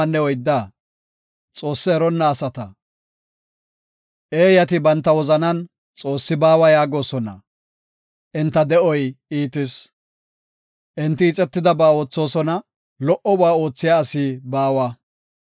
Eeyati banta wozanan, “Xoossi baawa” yaagosona; enta de7oy iitis. Enti ixetidaba oothosona; lo77oba oothiya asi baawa.